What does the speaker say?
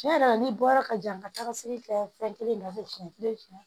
Tiɲɛ yɛrɛ la n'i bɔra ka jan ka taga se kɛ fɛn kelen na pewu